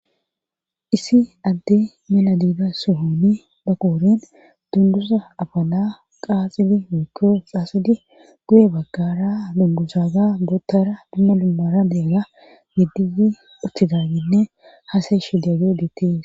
Issi adde maladida suhoni daqooren dundusa afala qaaxidi wokkoo xaasidi guye baggara dundusaga boottara dimma dummara deega geddiyi uttiganninne haasa ishidageo geettees.